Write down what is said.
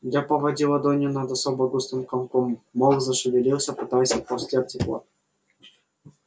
я поводил ладонью над особо густым комком мох зашевелился пытаясь отползти от тепла